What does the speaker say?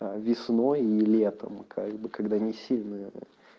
весной и летом как бы когда не сильная